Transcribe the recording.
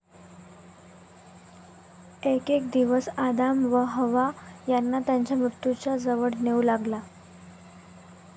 एकेक दिवस, आदाम व हव्वा यांना त्यांच्या मृत्यूच्या जवळ नेऊ लागला.